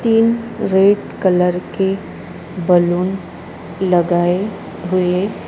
तीन red colour के balloon लगाए हुए--